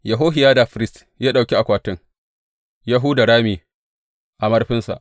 Yehohiyada firist ya ɗauki akwatin ya huda rami a murfinsa.